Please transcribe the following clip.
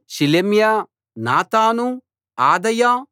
Shelemiah Nathan అదాయా